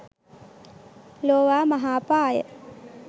ලෝවා මහා පාය